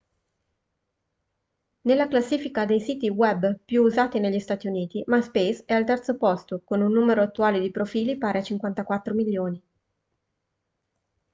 nella classifica dei siti web più usati negli stati uniti myspace è al terzo posto con un numero attuale di profili pari a 54 milioni